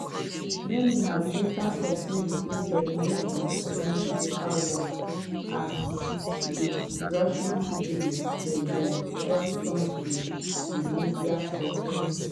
many have later complain say dem no understand di paperwork - as with russian citizens dem dem don turn to di media for help.